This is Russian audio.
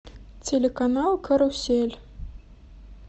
телеканал карусель